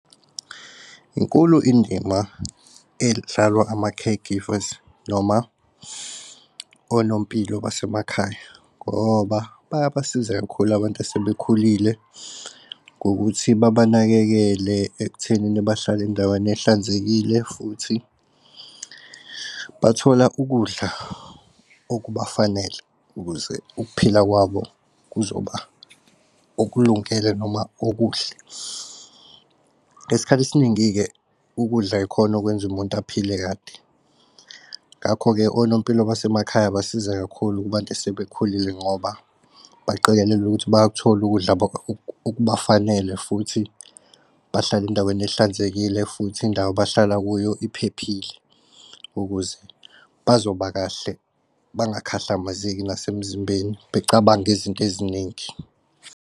Inkulu indima edlalwa ama-care givers noma onompilo basemakhaya ngoba bayabasiza kakhulu abantu asebekhulile. Ngokuthi babanakekele ekuthenini bahlala endaweni ehlanzekile futhi bathola ukudla okubafanele ukuze ukuphila kwabo kuzoba okulungele noma okuhle. Ngesikhathi esiningi-ke ukudla ikhona okwenza umuntu aphile kade ngakho-ke onompilo basemakhaya basiza kakhulu kubantu asebekhulile ngoba baqikelela ukuthi bayak'thola ukudla okubafanele futhi bahlala endaweni ehlanzekile futhi indawo abahlala kuyo iphephile ukuze bazoba kahle bangakhahlamezeki nasemzimbeni becabange izinto eziningi.